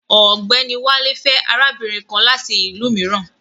Ọ̀gbẹ́ni Wálé fẹ́ arábìnrin kan láti ìlú mìíràn